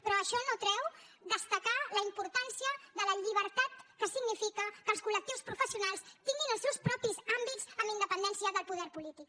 però això no treu destacar la importància de la llibertat que significa que els col·lectius professionals tinguin els seus propis àmbits amb independència del poder polític